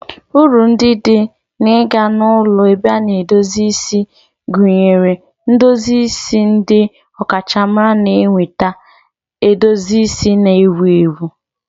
Uru ndị dị n'ịga na ulọ ebe a na-edozi isi gụnyere ndozi isi ndị ọkachamara na ịnweta edozi isi na-ewu ewu.